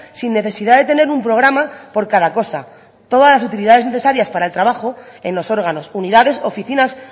sin necesidad de tener un programa por cada cosa todas las utilidades necesarias para el trabajo en los órganos unidades oficinas